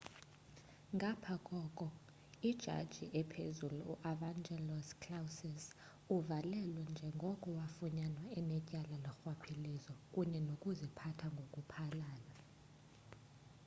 ngapha koko ijaji ephezulu u-evangelos kalousis uvalelwe njengoko wafunyanwa enetyala lorhwaphilizo kunye nokuziphatha ngoku phalala